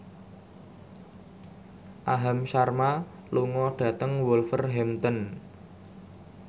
Aham Sharma lunga dhateng Wolverhampton